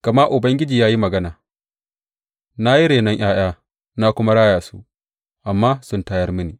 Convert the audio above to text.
Gama Ubangiji ya yi magana, Na yi renon ’ya’ya, na kuma raya su, amma sun tayar mini.